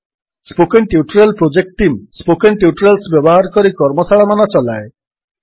spoken tutorial project team spoken tutorials ବ୍ୟବହାର କରି କର୍ମଶାଳାମାନ ଚଲାଏ